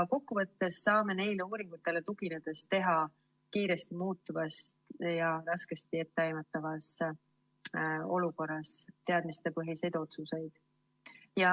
Kokkuvõttes saame neile uuringutele tuginedes teha kiiresti muutuvas ja raskesti etteaimatavas olukorras teadmistepõhiseid otsuseid.